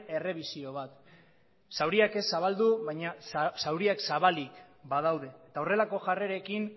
errebisio bat zauriak ez zabaldu baina zauriak zabalik badaude eta horrelako jarrerekin